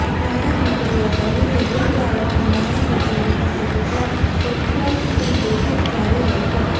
નાણા મંત્રીએ કહ્યુંકે બુધવારે પણ નાણા સચિવની સાથે કેટલાક સેક્ટર્સની બેઠક જારી રહેશે